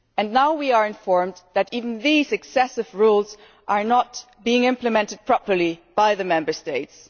Now we are informed that even these excessive rules are not being implemented properly by the Member States.